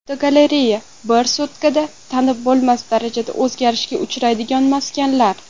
Fotogalereya: Bir sutkada tanib bo‘lmas darajada o‘zgarishga uchraydigan maskanlar.